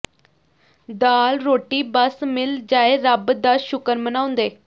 ਦਾਲ ਰੋਟੀ ਬੱਸ ਮਿਲ ਜਾਏ ਰੱਬ ਦਾ ਸ਼ੁਕਰ ਮਨਾਉਂਦੇ